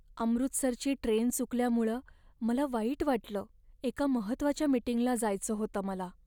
अमृतसरची train चुकल्यामुळं मला वाईट वाटलं, एका महत्त्वाच्या मीटिंगला जायचं होतं मला.